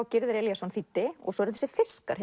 Gyrðir Elíasson þýddi og svo eru þessir fiskar